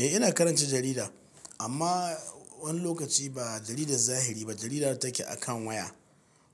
Eh, ina karanta jarida, amma wani lokaci ba jaridar zahiri ba, jarida da take akan waya,